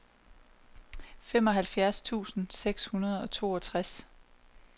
femoghalvfjerds tusind seks hundrede og toogtres